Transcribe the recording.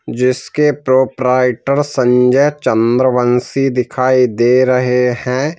जिसके प्रोप्राइटर संजय चंद्रवंशी दिखाई दे रहे हैं।